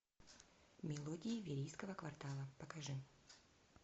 мелодии верийского квартала покажи